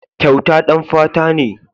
Kyauta ɗan fata ne.